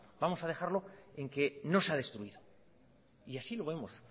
vamos a dejarlo en que no se ha destruido y así lo vemos